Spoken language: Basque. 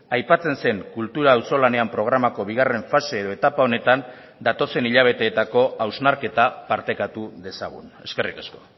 aipatzen zen kultura auzolanean programako bigarren fase edo etapa honetan datozen hilabeteetako hausnarketa partekatu dezagun eskerrik asko